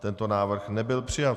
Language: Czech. Tento návrh nebyl přijat.